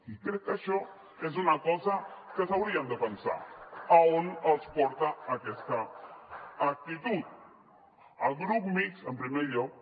i crec que això és una cosa que s’haurien de pensar on els porta aquesta actitud al grup mixt en primer lloc